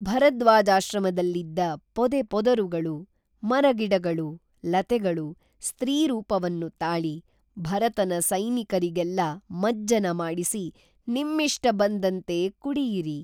ಭರದ್ವಾಜಾಶ್ರಮದಲ್ಲಿದ್ದ ಪೊದೆ ಪೊದರುಗಳು, ಮರಗಿಡಗಳು, ಲತೆಗಳು, ಸ್ತ್ರೀ ರೂಪವನ್ನು ತಾಳಿ ಭರತನ ಸೈನಿಕರಿಗೆಲ್ಲ ಮಜ್ಜನ ಮಾಡಿಸಿ ನಿಮ್ಮಿಷ್ಟಬಂದಂತೆ ಕುಡಿಯಿರಿ